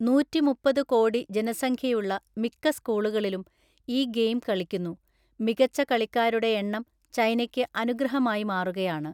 നൂറ്റിമുപ്പത് കോടി ജനസംഖ്യയുള്ള മിക്ക സ്കൂളുകളിലും ഈ ഗെയിം കളിക്കുന്നു; മികച്ച കളിക്കാരുടെ എണ്ണം ചൈനയ്ക്ക് അനുഗ്രഹമായി മാറുകയാണ്.